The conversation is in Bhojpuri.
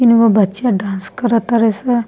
तीन गो बच्चा डांस करा ताड़े से।